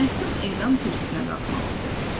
Məhkum edam kürsüsünə qalxmalı idi.